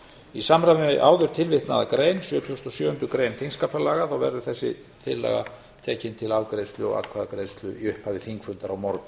í samræmi við áður tilvitnaða grein sjötugasta og sjöundu grein þingskapa verður þessi tillaga tekið til afgreiðslu og atkvæðagreiðslu í upphafi þingfundar á morgun